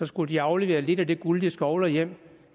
skulle de aflevere lidt af det guld de skovler hjem